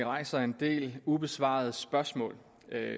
rejser en del ubesvarede spørgsmål